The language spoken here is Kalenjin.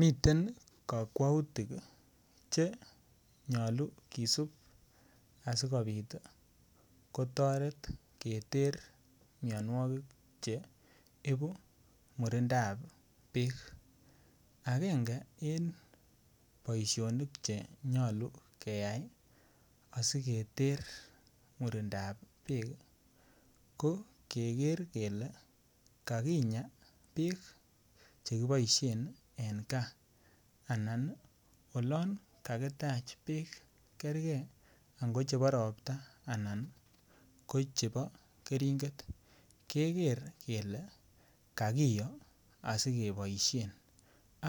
Miten kakwautik chenyolu kisubu asikopit kotoret keter mianwogik cheibu murindab beek ,akenge en boisionik chenyolu keya asiketer murindab beek ii ko keker kele kakinyaa beek chekiboisien eng gaa ana ko olangakitaach beek kerge ango chebo ropta anan ko chebo kering'et keker kele kakiyo asikeboisien